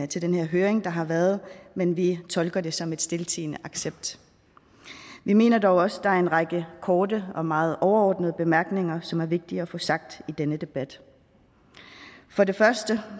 til den her høring der har været men vi tolker det som en stiltiende accept vi mener dog også at der er en række korte og meget overordnede bemærkninger som er vigtige at få sagt i denne debat for det første